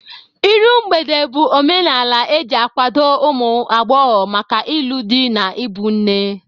Iru mgbede bụ omenala e ji akwado ụmụ agbọghọ maka ịlụ di na ịbụ nne.